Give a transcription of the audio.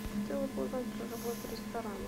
хотела бы узнать про работу ресторана